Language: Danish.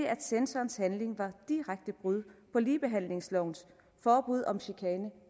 at censorens handling var et direkte brud på ligebehandlingslovens forbud om chikane